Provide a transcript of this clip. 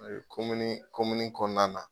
Fana komini komini kɔnɔna na.